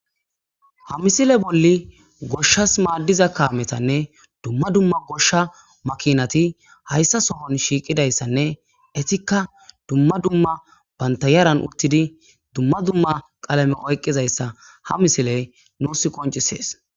Ha misile bolli goshshas maaddiza kaametanne dumma dumma goshsha makinati hayssa sohon shiiqidayssanne etikka dumma dumma bantayaran uttidi dumma dumma qalame oyqqizayssa ha misiley nuus qoncisees.